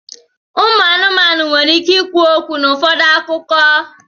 ụmụ anụmanụ nwere ike ikwu okwu n'ụfọdụ akụkọ.